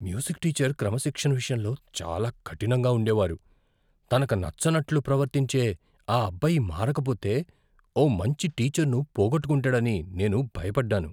Music teacher క్రమశిక్షణ విషయంలో చాలా కఠినంగా ఉండేవారు. తనకు నచ్చినట్లు ప్రవర్తించే ఆ అబ్బాయి మారకపోతే ఓ మంచి టీచర్ను పోగొట్టుకుంటాడని నేను భయపడ్డాను.